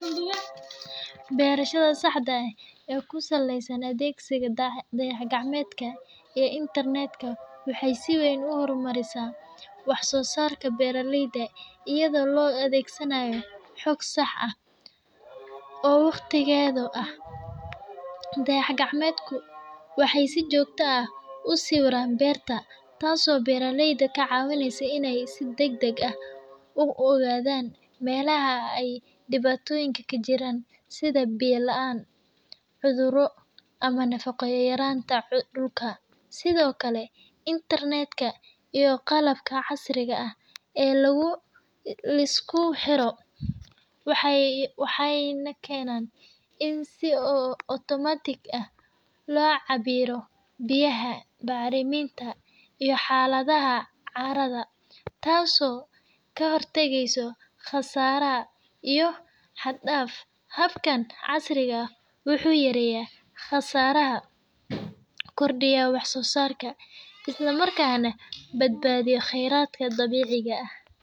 Beerashada sacdia eeh ee kusaleysan atheksiga dayaxakacminta ee internet waxa si weyn u hormarisah waxsosarka beraleyda eyado lo athegsanayo xoog sax aah oo waqdiketha aah ,dayaxkacmetko waxu si jokta u siweeah beerta taaso beraleyda kacawaneysoh si degdeg ah u a than meelaha aay dewatoyinka kajiran setha biya laan, cuthuroh amah nafaqayarantabdulka sethokali in tartiib iyo qalabka carsika aah ee lagu liskuxeroh waxay nakeenan in si otomarkic aah lo cabiroh biyaha barimenta iyo calada carada taaso kahortageysoh qasarahabiyo caad daad habkan casrika aah waxu yareyah qasaraha kordiyah wax sosarka Isla markana badabathiyah qeeratka dabeceka aah.